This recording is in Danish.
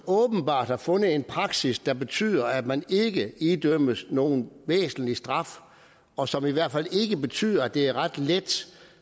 åbenbart er fundet en praksis der betyder at man ikke idømmes nogen væsentlig straf og som i hvert fald ikke betyder at det er ret let